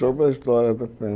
Sobre a história da